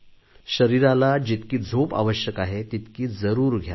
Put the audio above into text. शरीराला जितकी झोप आवश्यक आहे तितकी जरूर घ्या